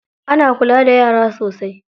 Ana kula da yara sosai.